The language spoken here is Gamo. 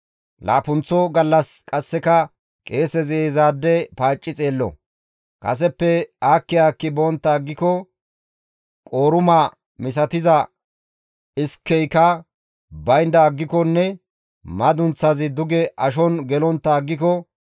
Laappunththo gallas qasseka qeesezi izaade paacci xeello; kaseppe aakki aakki bontta aggiko qooruma misatiza iskeyka baynda aggikonne madunththazi duge ashon gelontta aggiko,